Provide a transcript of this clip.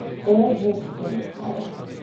O bog, sem jokala!